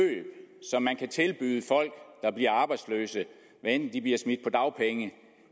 som man kan tilbyde folk der bliver arbejdsløse hvad enten de bliver smidt på dagpenge